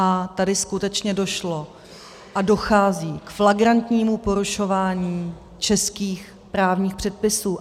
A tady skutečně došlo a dochází k flagrantnímu porušování českých právních předpisů.